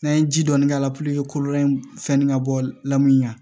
N'an ye ji dɔɔni k'a la kɔlɔlɔ in fɛn nin ka bɔ la min na